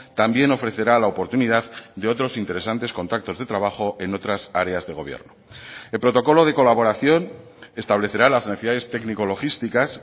también ofrecerá la oportunidad de otros interesantes contactos de trabajo en otras áreas de gobierno el protocolo de colaboración establecerá las necesidades técnico logísticas